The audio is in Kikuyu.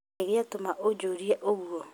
Nĩkĩĩ gĩatuma ũjĩrie ũguo?